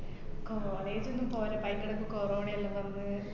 college ഒന്നും പോരാ അയിന്‍റെടക്ക് കൊറോണ എല്ലാം വന്ന്